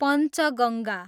Panchganga